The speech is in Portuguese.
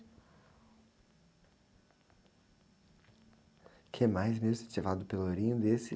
O que mais mesmo você tinha falado do pelourinho desse?